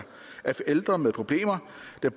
jeg